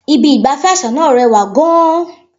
Ibi ìgbafẹ́ àṣà náà rẹwà gan-an.